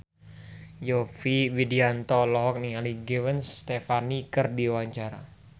Yovie Widianto olohok ningali Gwen Stefani keur diwawancara